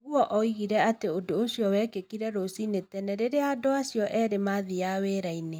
Ogur oigire atĩ ũndũ ũcio wekĩkire rùciinĩ tene rĩrĩa andũ acio erĩ mathiaga wĩra-inĩ.